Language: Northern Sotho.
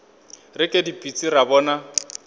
re ke dipitsi ra bona